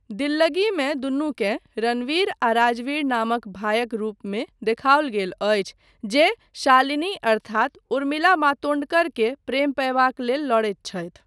दिल्लगीमे दुनूकेँ रणवीर आ राजवीर नामक भायक रूपमे देखाओल गेल अछि जे शालिनी अर्थात उर्मिला मातोंडकर के प्रेम पयबाक लेल लड़ैत छथि।